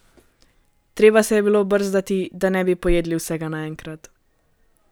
Treba se je bilo brzdati, da ne bi pojedli vsega naenkrat.